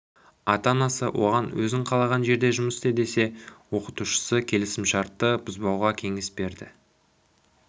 ата-анасы оған өзің қалаған жерде жұмыс істе десе оқытушысы келісімшартты бұзбауға кеңес берді